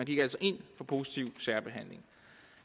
gik altså ind for positiv særbehandling